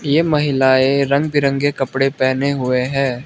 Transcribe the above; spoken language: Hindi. ये महिलाएं रंग बिरंगे कपड़े पहने हुए हैं।